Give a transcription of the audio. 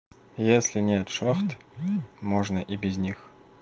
если нет шахты можно и без них